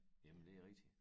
Jamen det er rigtigt